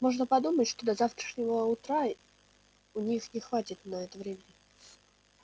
можно подумать что до завтрашнего утра у них не хватит на это времени